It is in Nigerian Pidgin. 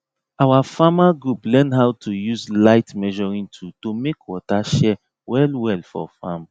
our farmer group learn how to use light measuring tool to make water share well well for farm